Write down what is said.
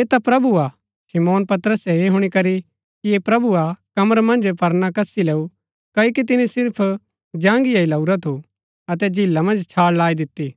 ऐह ता प्रभु हा शमौन पतरसे ऐह हुणी करी कि ऐह प्रभु हा कमर मन्ज परना कसी लैऊँ क्ओकि तिनी सिर्फ जांगिया ही लाऊरा थू अतै झीला मन्ज छाळ लाई दिती